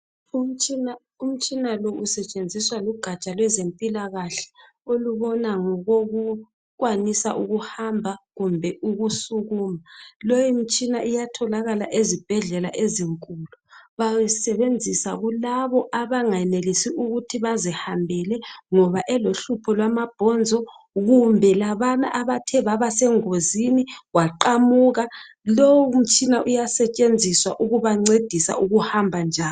Umtshina lo usetshenziswa lugatsha lwezempilakahle olubona ngokokukwanisa ukuhamba kumbe ukusukuma. Leyo mtshina iyatholakala ezibhedlela basebenzisa kulabo abangayenelisi ukuthi bazihambele elohlupho lwamabhonzo kumbe labana abathe baba sengozini waqamuka. Lowu mtshina uyabancedisa ukuhamba.